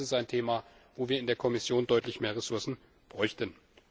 Auch das ist ein Thema, wo wir in der Kommission deutlich mehr Ressourcen bräuchten.